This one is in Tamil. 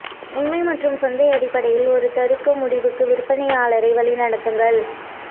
உண்மை மற்றும் சந்தை அடிப்படையில் ஒரு தருக்க முடிவுக்கு விற்பனையாளரை வழிநடத்துங்கள்